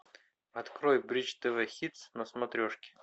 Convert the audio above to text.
открой бридж тв хитс на смотрешке